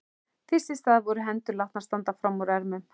Fyrst í stað voru hendur látnar standa fram úr ermum.